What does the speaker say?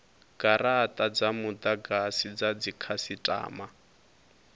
garata dza mudagasi dza dzikhasitama